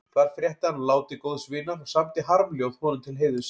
Þar frétti hann af láti góðs vinar og samdi harmljóð honum til heiðurs.